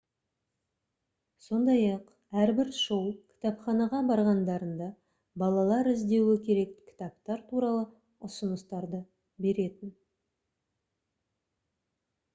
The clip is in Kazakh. сондай-ақ әрбір шоу кітапханаға барғандарында балалар іздеуі керек кітаптар туралы ұсыныстарды беретін